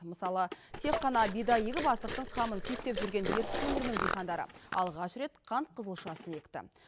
мысалы тек қана бидай егіп астықтың қамын күйттеп жүрген ертіс өңірінің диқандары алғаш рет қант қызылшасын екті